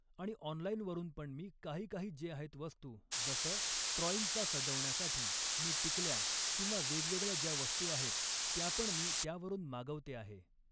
आणि ऑनलाईनवरून पण मी काही काही जे आहेत वस्तू जसं ट्रॉईंगचा सजवण्यासाठी मी टिकल्या किंवा वेगवेगळ्या ज्या वस्तू आहेत त्यापण मी त्यावरून मागवते आहे